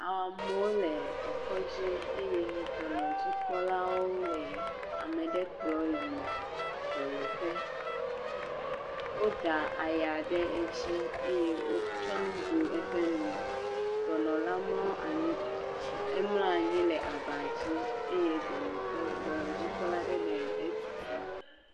Amewo le ekɔdzi eye dɔnɔdzikpɔlawo le ame ɖe kplɔ yi dɔyɔƒe. Woda aya ɖe edzi eye wotsɔ nu bu eƒe nu. Dɔnɔ la mlɔ anyi, emlɔ anyi le abadzi eye dɔnɔkpɔla, dɔnɔdzikpɔla aɖe le etutu.